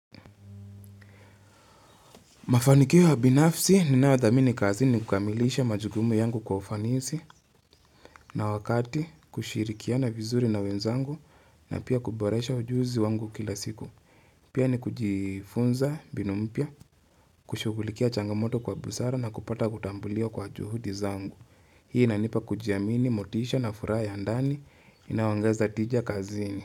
Mafanikio binafsi ninayodhamini kazi ni kukamilisha majukumu yangu kwa ufanisi na wakati kushirikiana vizuri na wenzangu na pia kuboresha ujuzi wangu kila siku. Pia ni kujifunza mbinu mpya, kushughulikia changamoto kwa busara na kupata kutambuliwabl kwa juhudi zangu. Hii inanipa kujiamini, motisha na furaha ya ndani inayoongeza tija kazini.